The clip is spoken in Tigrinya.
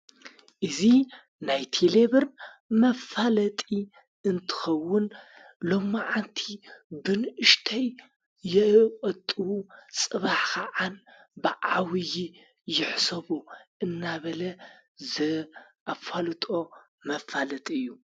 እዚ ናይ ቲሌብር መፋለጢ እንትኸውን ሎ መዓንቲ ብንእሽተይ የቆጥቡ ጽባሕ ኸዓ ብዓቢዪ ይሕሰቡ እናበለ ዘ ኣፋሉጦ መፋለጥ እዩ።